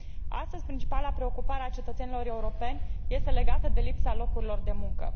Astăzi, principala preocupare a cetățenilor europeni este legată de lipsa locurilor de muncă.